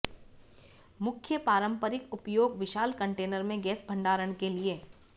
मुख्य पारंपरिक उपयोग विशाल कंटेनर में गैस भंडारण के लिए